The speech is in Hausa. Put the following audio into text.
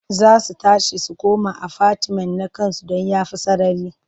Za su tashi su koma afatimen na ƙasansu don ya fi sarari.